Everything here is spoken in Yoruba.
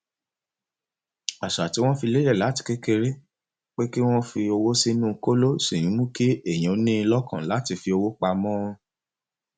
àṣà tí wọn fi lélẹ láti kékeré pé kí wọn kó owó sínú kóló ṣì ń mú kí èèyàn ní ìlọkàn láti fi owó pamọ